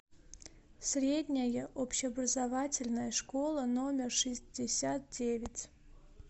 средняя общеобразовательная школа номер шестьдесят девять